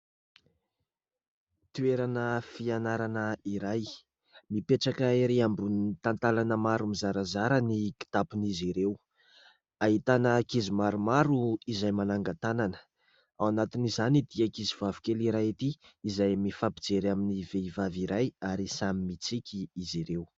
Toerana fianarana iray : mipetraka ery ambonin'ny talantalana maro mizarazara ny kitapon'izy ireo, ahitana ankizy maromaro izay manangan-tanana ; ao anatin'izany ity ankizy vavikely iray ity izay mifampijery amin'ny vehivavy iray ary samy mitsiky izy ireo.